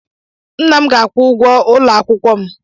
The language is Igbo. Nna m ga-akwụ ụgwọ ụlọ akwụkwọ m.